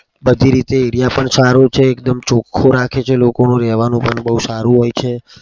બધી રીતે area પણ સારો છે. એકદમ ચોખ્ખો રાખે છે. લોકોનું રેવાનું પણ બઉ સારું હોય છે.